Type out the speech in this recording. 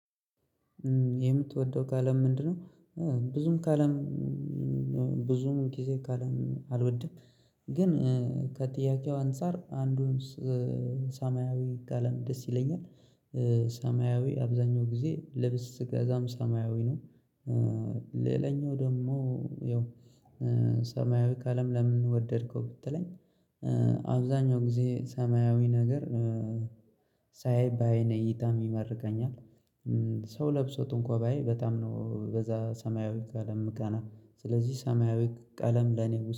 የምትወደው ከለም ምንድነው? ብዙም ከለም ብዙም ጊዜ ካለም አልወድም። ግን ከጥያቄው አንፃር አንዱን ሰማያዊ ቀለም ደስ ይለኛል። ሰማያዊ አብዛኛው ጊዜ ልብስ ስገዛም ሰማያዊ ነው። ሌላኛው ደግሞ ያው ሰማያዊ ቀለም ለምን ወደድከው ብትለኝ? አብዛኛው ጊዜ ሰማያዊ ነገር ሳይ በአይኔ እይታም ይማርከኛል። ሰው ለብሶት እንኳን ባይ በጣም ነው በዛ ሰማያዊ ቀለም ምቀና ስለዚህ ሰማያዊ ቀለም ለኔ